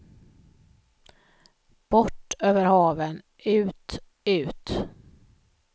Bort över haven, ut, ut.